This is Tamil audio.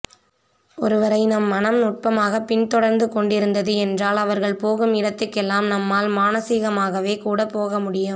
ஒருவரை நம் மனம் நுட்பமாக பின் தொடர்ந்துகொண்டிருந்தது என்றால் அவர்கள் போகும் இடத்துக்கெல்லாம் நம்மால் மானசீகமாகவே கூடப்போக முடியும்